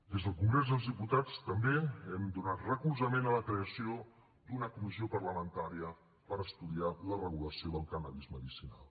des del congrés dels diputats també hem donat recolzament a la creació d’una comissió parlamentària per estudiar la regulació del cànnabis medicinal